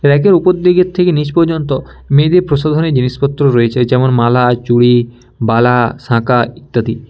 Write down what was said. Rack -এর উপর দিকের থেকে নীচ পর্যন্ত মেয়েদের প্রসাধনিক জিনিসপত্র রয়েছে যেমন মালা চুরি বালা শাকা ইত্যাদি।